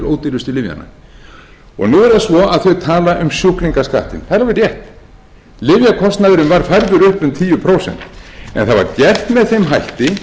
ódýrustu lyfjanna nú er það svo að þau tala um sjúklingaskattinn það er alveg rétt lyfjakostnaðurinn var færður upp um tíu prósent en það var gert með þeim hætti